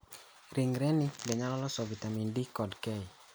Ringre ni bende nyalo loso vitamin D kod K.